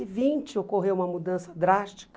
E vinte, ocorreu uma mudança drástica.